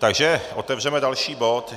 Takže otevřeme další bod.